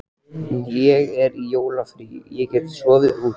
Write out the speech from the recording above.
Ég er í jólafríi og get sofið út.